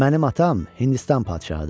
Mənim atam Hindistan padşahıdır.